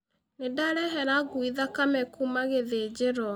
Nĩndarehera ngui thakame kuuma gĩthinjĩro.